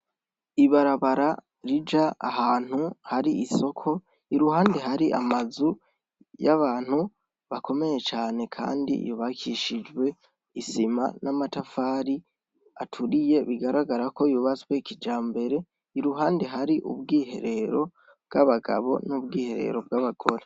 Ibarabara rija ahantu har'isoko iruhande hari amazu y'abantu bakomeye cane, kandi yubakishijwe isima n'amabati aturiye bigaragara ko yubatswe kijambere, iruhande hari ubwiherero bw'abagabo, n'ubwiherero bw'abagore.